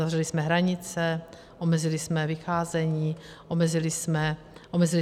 Uzavřeli jsme hranice, omezili jsme vycházení, omezili jsme podnikání.